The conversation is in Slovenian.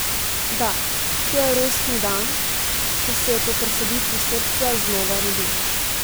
Da, to je rojstni dan, ko se je po presaditvi srca znova rodil.